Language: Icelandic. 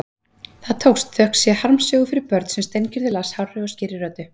Það tókst, þökk sé harmsögu fyrir börn sem Steingerður las hárri og skýrri röddu.